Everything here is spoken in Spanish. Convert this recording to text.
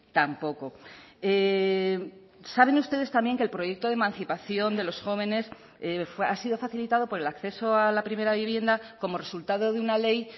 tampoco saben ustedes también que el proyecto de emancipación de los jóvenes ha sido facilitado por el acceso a la primera vivienda como resultado de una ley